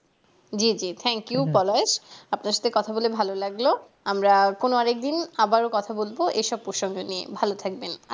জি জি thank you আপনার সাথে কথা বলে ভালো লাগলো আমরা কোনো এক একদিন আবার কথা বলবো এসব প্রসঙ্গ নিয়ে ভালো থাকবেন